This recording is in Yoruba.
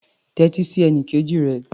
Tẹ́tí sí ẹnikejì rẹ.